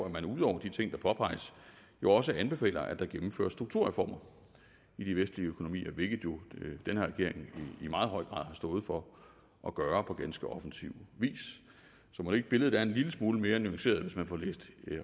at man ud over de ting der påpeges jo også anbefaler at der gennemføres strukturreformer i de vestlige økonomier hvilket jo den her regering i meget høj grad har stået for at gøre på ganske offensiv vis så mon ikke billedet er en lille smule mere nuanceret hvis man får læst